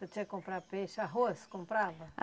Tu tinha que comprar peixe, arroz, comprava?